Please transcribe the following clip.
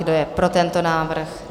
Kdo je pro tento návrh?